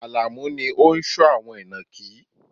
Alamu ni ó ń sọ́ àwọn inakí